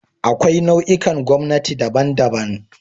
Akwai nau'ikan gwamnati daban-daban